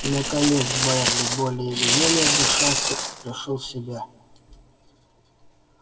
наконец байерли более или менее отдышался и пришёл в себя